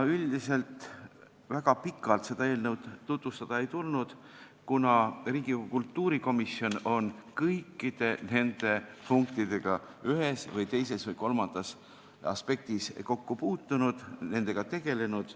Üldiselt väga pikalt seda eelnõu tutvustada ei tulnud, kuna Riigikogu kultuurikomisjon on kõikide nende punktidega ühes või teises või kolmandas aspektis kokku puutunud, nendega tegelenud.